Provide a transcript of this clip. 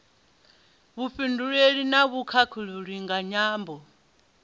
vhufhinduleli na vhukhakhulili nga nyambo